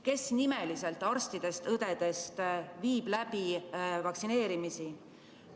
Kes nimeliselt arstidest-õdedest viivad läbi vaktsineerimisi?